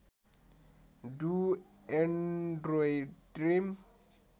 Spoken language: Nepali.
do android dream